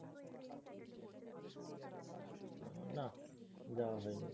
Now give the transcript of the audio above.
আহ নাহ যাওয়া হয়নি।